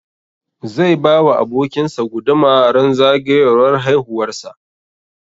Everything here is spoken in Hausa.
Zai ba wa abokin sa guduma ran zagayowar haihuwar sa